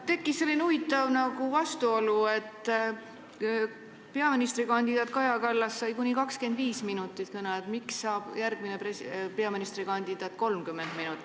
Tekkinud on selline huvitav vastuolu, et peaministrikandidaat Kaja Kallas sai kuni 25 minutit kõneaega, järgmine peaministrikandidaat kuni 30 minutit.